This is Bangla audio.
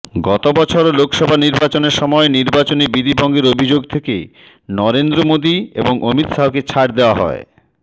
গতবছর লোকসভা নির্বাচনের সময় নির্বাচনী বিধিভঙ্গের অভিযোগ থেকে নরেন্দ্র মোদী এবং অমিত শাহকে ছাড়